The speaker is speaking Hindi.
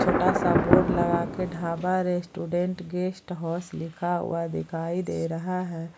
छोटा सा बोड लगाके ढाबा रेस्टोरेंट गेस्ट हाउस लिखा हुआ दिखाई दे रहा है।